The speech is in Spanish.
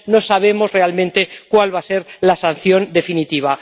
final, no sabemos realmente cuál va a ser la sanción definitiva.